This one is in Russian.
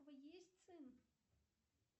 есть сын